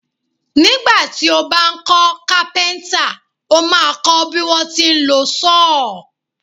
Nígbà tí ó bá ń kọ́ Kápẹ́ńtà, ó máa kọ́ bí wọ́n ti ń lọ sọ́ọ̀.